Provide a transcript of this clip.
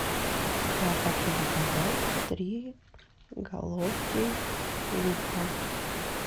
я хочу заказать три головки лука